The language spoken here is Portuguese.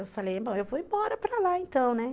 Eu falei, bom, eu vou embora para lá então, né.